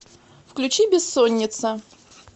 включи бессоница